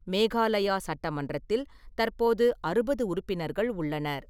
மேகாலயா சட்டமன்றத்தில் தற்போது அறுபது உறுப்பினர்கள் உள்ளனர்.